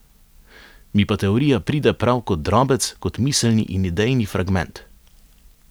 Mi pa teorija pride prav kot drobec, kot miselni in idejni fragment.